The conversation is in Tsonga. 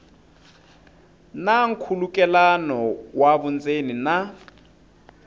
na nkhulukelano wa vundzeni na